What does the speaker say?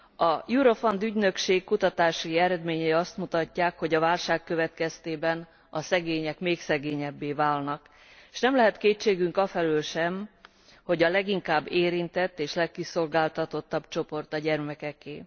A Eurofund ügynökség kutatási eredményei azt mutatják, hogy a válság következtében a szegények még szegényebbé válnak, s nem lehet kétségünk afelől sem, hogy a leginkább érintett és legkiszolgáltatottabb csoport a gyermekeké.